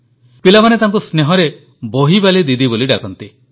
ପିଲାମାନେ ତାଙ୍କୁ ସ୍ନେହରେ ବହିବାଲି ଦିଦି ବୋଲି ଡାକନ୍ତି